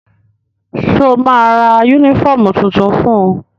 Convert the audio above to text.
Sọ ma ra yúnífọ̀mù tuntun fun?